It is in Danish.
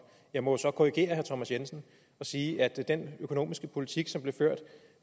jeg må så korrigere herre thomas jensen og sige at den økonomiske politik som blev ført